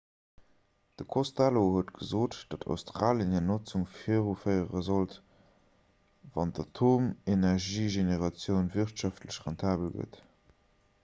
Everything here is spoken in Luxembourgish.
de costello huet gesot datt australie hir notzung viruféiere sollt wann d'atomenergiegeneratioun wirtschaftlech rentabel gëtt